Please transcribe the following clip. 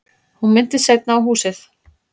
Hún minntist seinna á húsið.